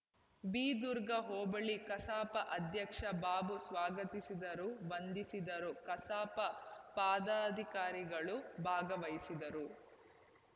ಬಿದುರ್ಗ ಹೋಬಳಿ ಕಸಾಪ ಅಧ್ಯಕ್ಷ ಬಾಬು ಸ್ವಾಗತಿಸಿದರು ವಂದಿಸಿದರು ಕಸಾಪ ಪದಾಧಿಕಾರಿಗಳು ಭಾಗವಹಿಸಿದ್ದರು